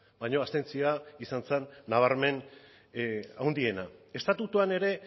baina abstentzioa izan zen nabarmen handiena estatutuan ere